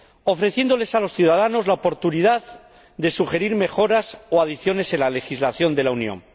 ofreciéndoles a los ciudadanos la oportunidad de sugerir mejoras o adiciones en la legislación de la Unión.